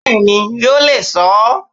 Bẹ́ẹ̀ni yóò le so ó